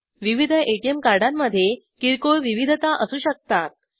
विविध एटीएम कार्डांमध्ये किरकोळ विविधता असू शकतात